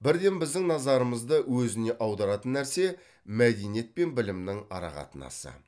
бірден біздің назарымызды өзіне аударатын нәрсе мәдениет пен білімнің арақатынасы